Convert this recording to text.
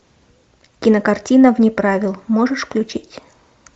кинокартина вне правил можешь включить